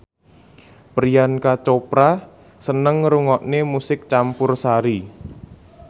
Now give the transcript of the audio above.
Priyanka Chopra seneng ngrungokne musik campursari